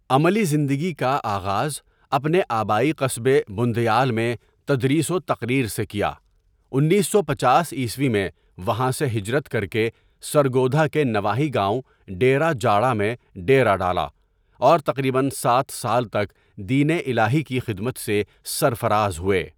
عملی زندگی کاآغازاپنے آبائی قصبےبندیال میں تدریس وتقریر سےکیا انیس سو پنچاس عیسوی میں وہاں سےہجرت کرکےسرگودھاکےنواحی گاؤں ڈیرہ جاڑامیں ڈیرہ ڈالا اور تقریباسات سال تک دین الہی کی خدمت سےسرفرازہوئے.